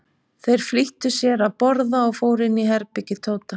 Þeir flýttu sér að borða og fóru inn í herbergi Tóta.